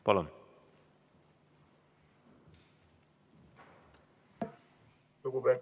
Palun!